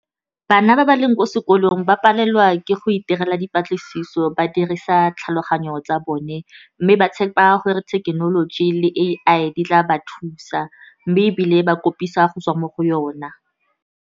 Bana ba ba leng ko sekolong, ba palelwa ke go itirela dipatlisiso ba dirisa tlhaloganyo tsa bone, mme ba tshepa gore thekenoloji le A_I di tla ba thusa, mme ebile ba kopisa go tswa mo go yona.